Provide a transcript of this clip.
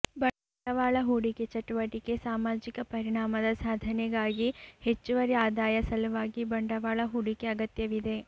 ಬಂಡವಾಳ ಹೂಡಿಕೆ ಚಟುವಟಿಕೆ ಸಾಮಾಜಿಕ ಪರಿಣಾಮದ ಸಾಧನೆಗಾಗಿ ಹೆಚ್ಚುವರಿ ಆದಾಯ ಸಲುವಾಗಿ ಬಂಡವಾಳ ಹೂಡಿಕೆ ಅಗತ್ಯವಿದೆ